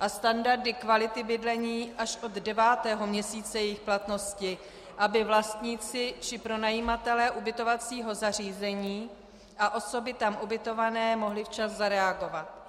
a standardy kvality bydlení až od devátého měsíce jejich platnosti, aby vlastníci či pronajímatelé ubytovacího zařízení a osoby tam ubytované mohly včas zareagovat.